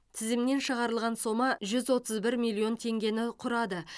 тізімнен шығарылған сома жүз отыз бір миллион теңгені құрады